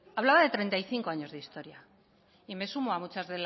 hablaba de treinta y cinco años de historia y me sumo a muchos